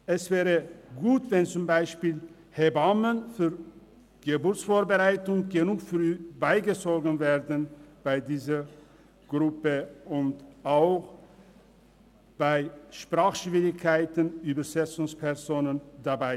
Es wäre gut, es würden zum Beispiel früh genug Hebammen für die Geburtsvorbereitung beigezogen und bei Sprachschwierigkeiten wären Übersetzungsfachleute dabei.